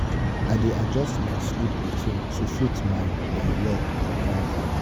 i go practice deep breathing if i wake up; e dey help calm me.